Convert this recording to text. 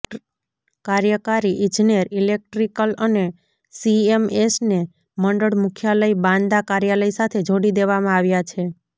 કાર્યકારી ઇજનેર ઇલેક્ટ્રિકલ અને સીએમએસને મંડળ મુખ્યાલય બાંદા કાર્યાલય સાથે જોડી દેવામાં આવ્યા છે